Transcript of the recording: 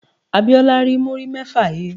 Abíọ́lá rí múrí mẹ́fà he.